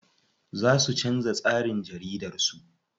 Za su canza tsarin jaridar su.